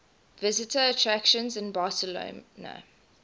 visitor attractions in barcelona